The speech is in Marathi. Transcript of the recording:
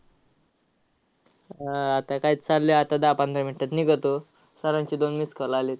हा, आह आता काय चाललंय. आता दहा-पंधरा minutes मध्ये निघतो. sir चे दोन missed call आलेत.